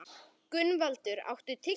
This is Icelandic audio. Gunnvaldur, áttu tyggjó?